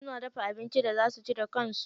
Suna dafa abincin da za suci da kansu.